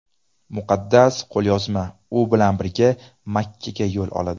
Muqaddas qo‘lyozma u bilan birga Makkaga yo‘l oladi.